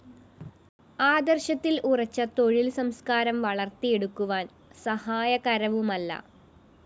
ആദര്‍ശത്തില്‍ ഉറച്ച തൊഴില്‍ സംസ്‌കാരം വളര്‍ത്തിയെടുക്കുവാന്‍ സഹായകരവുമല്ല